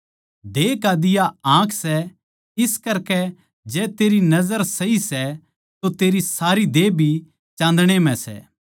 देह का दिवा आँख सै इस करकै जै तेरी सोच सही सै तो तेरी सारी देह भी चाँदणे म्ह सै